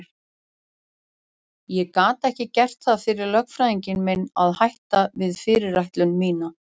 Ég gat ekki gert það fyrir lögfræðing minn að hætta við fyrirætlun mína.